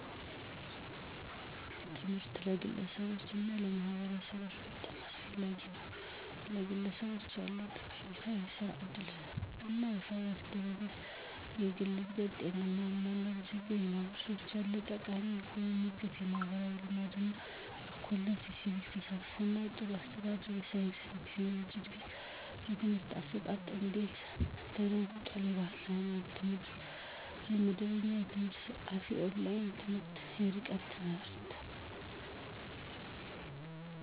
ትምህርት ለግለሰቦች እና ለማህበረሰቦች በጣም አስፈላጊ ነው፤ #ለግለሰቦች ያለው ጠቀሜታ -* የሥራ ዕድል እና የፋይናንስ ደህንነት: * የግል እድገት: * ጤናማ የአኗኗር ዘይቤ: #ለማህበረሰቦች ያለው ጠቀሜታ -* የኢኮኖሚ እድገት: * ማህበራዊ ልማት እና እኩልነት: * የሲቪክ ተሳትፎ እና ጥሩ አስተዳደር: * የሳይንስ እና ቴክኖሎጂ እድገት: #የትምህርት አሰጣጥ እንዴት ተለውጧል? * የባህል እና ሃይማኖታዊ ትምህርት * መደበኛ የትምህርት ስርዓት * የኦንላይን ትምህርት *የርቀት ትምህርት.....